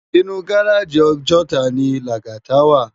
Inú gáráji Òjòtá ni Lagata wá